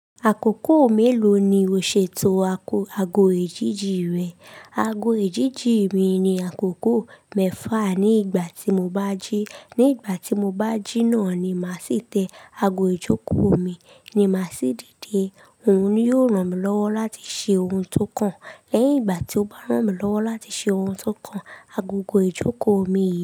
Àkókò mélòó ni o ṣètò ago èjìjí rẹ? Ago èjìjí mi ni àkókò mẹ́fà ní ìgbà tí mo bá jí. Ní ìgbà tí mo bá jí náà ni màá sì tẹ ago ìjókòó mi ni màá sì dìde. Òun ni yóò ràn mí lọ́wọ́ láti ṣe ohun tó kàn. Lẹ́yìn ìgbà tí ó bá ràn mí lọ́wọ́ láti ṣe ohun tó kàn, agogo ìjókòó mi yìí.